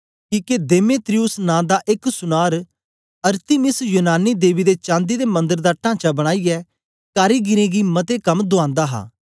किके देमेत्रियुस नां दा एक सुनार अरतिमिस यूनानी देवी दे चांदी दे मंदर दा टांचा बनाईयै कारीगरें गी मते कम दुआनदा हा